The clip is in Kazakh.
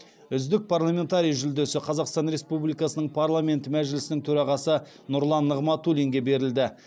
үздік парламентарий жүлдесі қазақстан республикасының парламенті мәжілісінің төрағасы нұрлан нығматулинге берілді